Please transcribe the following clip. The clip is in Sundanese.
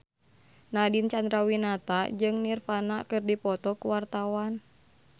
Nadine Chandrawinata jeung Nirvana keur dipoto ku wartawan